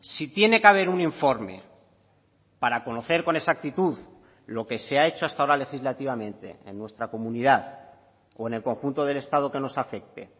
si tiene que haber un informe para conocer con exactitud lo que se ha hecho hasta ahora legislativamente en nuestra comunidad o en el conjunto del estado que nos afecte